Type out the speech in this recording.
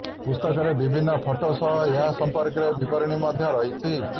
ପୁସ୍ତକରେ ବିଭିନ୍ନ ଫଟୋ ସହ ଏହା ସଂପର୍କରେ ବିବରଣୀ ମଧ୍ୟ ରହିଛି